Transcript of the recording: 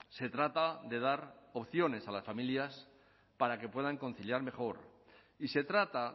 se trata de dar opciones a las familias para que puedan conciliar mejor y se trata